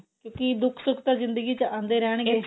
ਕਿਉਂਕਿ ਦੁੱਖ ਸੁੱਖ ਤਾਂ ਜਿੰਦਗੀ ਚ ਆਂਦੇ ਰਹਿਣਗੇ